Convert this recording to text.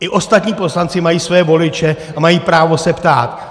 I ostatní poslanci mají své voliče a mají právo se ptát!